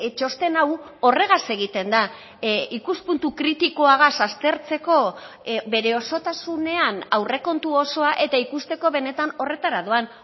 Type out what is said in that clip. txosten hau horregaz egiten da ikuspuntu kritikoagaz aztertzeko bere osotasunean aurrekontu osoa eta ikusteko benetan horretara doan